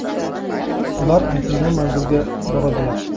Ular aytilgan manzilga boradilar.